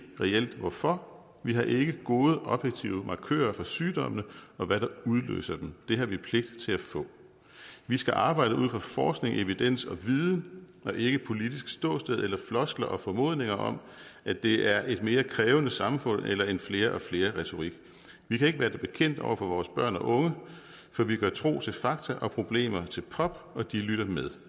hvorfor vi har ikke gode objektive markører for sygdommene og hvad der udløser dem det har vi pligt til at få vi skal arbejde ud fra forskning evidens og viden og ikke politisk ståsted eller floskler og formodninger om at det er et mere krævende samfund eller en flere og flere retorik vi kan ikke være det bekendt over for vores børn og unge for vi gør tro til fakta og problemer til pop og de lytter med